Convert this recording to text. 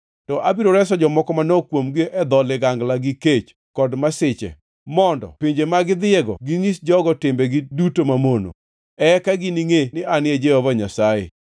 To abiro reso jomoko manok kuomgi e dho ligangla gi kech, kod masiche, mondo e pinje ma gidhiyego ginyis jogo timbegi duto mamono. Eka giningʼe ni An e Jehova Nyasaye.”